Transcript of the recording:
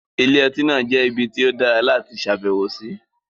Ilé-ọtí náà jẹ́ ibi tí ó dára láti ṣàbẹ̀wò sí.